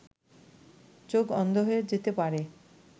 চোখ অন্ধ হয়ে যেতে পারে